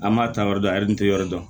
An b'a ta yɔrɔ dɔn a yiri tɛ yɔrɔ dɔn